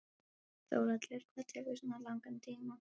Þórhallur: Hvað tekur svona langan tíma?